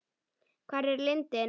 Hvar er lindin?